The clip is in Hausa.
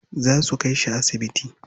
Za su kai shi asibiti.